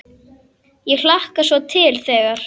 Ég hlakkar svo til þegar.